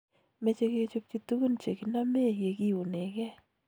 Meche kechopchi tugun chekinamee ye kiunegee.